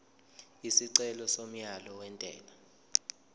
isicelo somyalo wentela